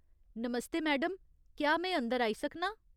नमस्ते madam, क्या में अंदर आई सकनां ?